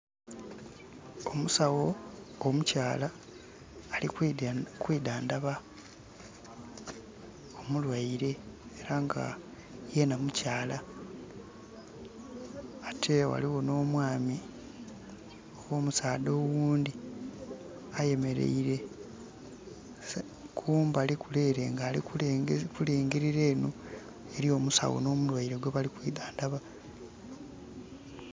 Omusawo omukyaala ali kwidhandhaba, omulwaire, era nga yena mukyala. Ate ghaligho nh'omwami oba omusaadha oghundhi ayemeleire kumbali kule ele nga ali kulingilira enho eli omusawo nh'omulwaire gwebali kwidhandhaba.